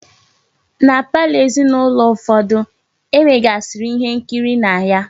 Na palọ ezinaulo ụfọdụ, e nwegasiri ihe nkiri na ya.